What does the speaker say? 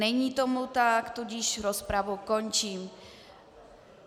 Není tomu tak, tudíž rozpravu končím.